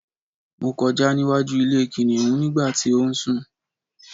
mo kọjá níwájú ilé kìnìhún nígbà tí ó ń sù